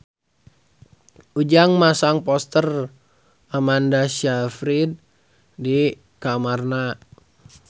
Ujang masang poster Amanda Sayfried di kamarna